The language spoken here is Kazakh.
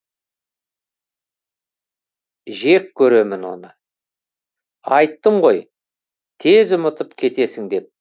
жек көремін оны айттым ғой тез ұмытып кетесің деп